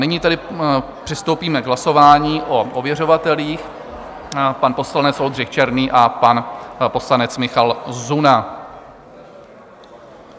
Nyní tedy přistoupíme k hlasování o ověřovatelích - pan poslanec Oldřich Černý a pan poslanec Michal Zuna.